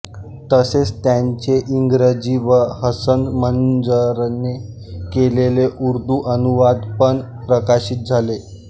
तसेच त्याचे इंग्रजी व हसन मंज़रने केलेले उर्दू अनुवाद पण प्रकाशित झाले